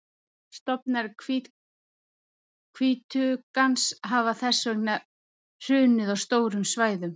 Stofnar hvítuggans hafa þess vegna hrunið á stórum svæðum.